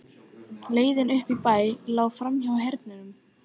Leiðin upp í bæ lá framhjá Hernum.